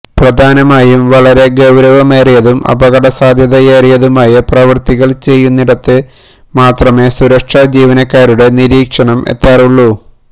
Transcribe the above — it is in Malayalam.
പ്രധാനമായും വളരെ ഗൌരവമേറിയതും അപകട സാധ്യതയേറിയതുമായ പ്രവര്ത്തികള് ചെയ്യുന്നിടത്ത് മാത്രമെ സുരക്ഷ ജീനക്കാരുടെ നിരീക്ഷണം എത്താറുള്ളൂ